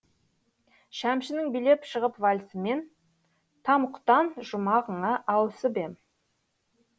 шәмшінің билеп шығып вальсімен тамұқтан жұмағыңа ауысып ем